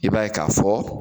I b'a ye k'a fɔ